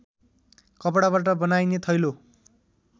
कपडाबाट बनाइने थैलो